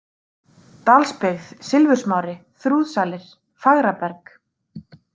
Dalsbyggð, Silfursmári, Þrúðsalir, Fagraberg